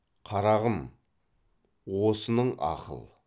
қарағым осының ақыл